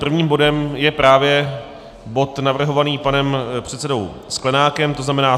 Prvním bodem je právě bod navrhovaný panem předsedou Sklenákem, to znamená